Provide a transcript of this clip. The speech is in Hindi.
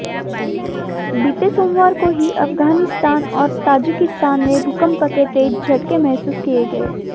बीते सोमवार को ही अफगानिस्तान और ताजिकिस्तान में भूकंप के तेज झटके महसूस किये गए